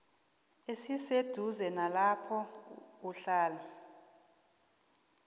esiseduze nalapho kuhlala